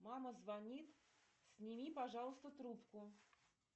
мама звонит сними пожалуйста трубку